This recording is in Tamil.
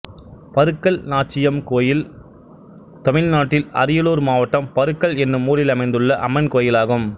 பருக்கல் நாச்சியம் கோயில் தமிழ்நாட்டில் அரியலூர் மாவட்டம் பருக்கல் என்னும் ஊரில் அமைந்துள்ள அம்மன் கோயிலாகும்